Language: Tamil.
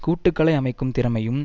கூட்டுக்களை அமைக்கும் திறமையும்